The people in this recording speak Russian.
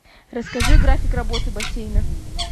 расскажи график работы бассейна